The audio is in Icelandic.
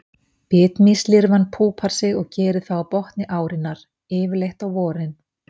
Bitmýslirfan púpar sig og gerir það á botni árinnar, yfirleitt á vorin.